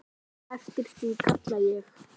Eftir því kalla ég.